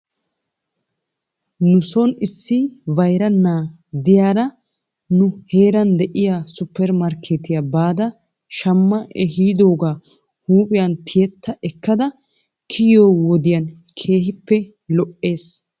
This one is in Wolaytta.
Nuson issi bayra na'a diyaara neu heeran de'iyaa supper markeetiyaa baada shamma ehidoogaa huuphphiyan tiyetta ekkada kiyiyoo wodiyan keehippe lo'ees.